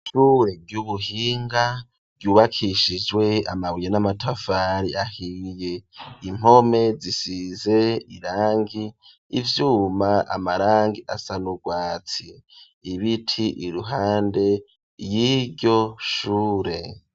Ishure ry'ubuhinga ryubakishijwe amabuye n'amatafari ahiye, impome zisize irangi ivyuma, amarangi asa n'urwatsi, ibiti iruhande yiryo shure.